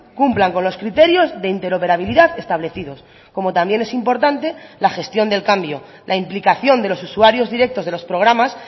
cumplan con los criterios de interoperabilidad establecidos como también es importante la gestión del cambio la implicación de los usuarios directos de los programas